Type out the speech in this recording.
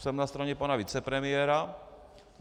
Jsem na straně pana vicepremiéra.